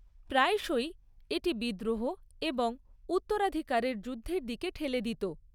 প্রায়শই এটি বিদ্রোহ এবং উত্তরাধিকারের যুদ্ধের দিকে ঠেলে দিত।